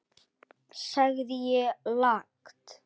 sagði ég lágt.